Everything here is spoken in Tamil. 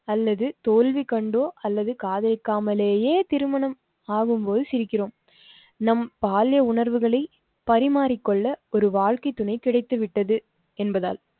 அல்லது தோல்வி கண்டோ அல்லது காதலிக்காமலயே திருமணம் ஆகும்போது சிரிக்கிறோம். நம் பால்ய உணர்வுகளை பரிமாறிக் கொள்ள ஒரு வாழ்க்கை துணை கிடைத்துவிட்டது என்பதால்